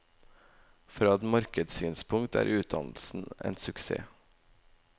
Fra et markedssynspunkt er utdannelsen en suksess.